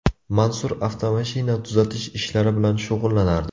Mansur avtomashina tuzatish ishlari bilan shug‘ullanardi.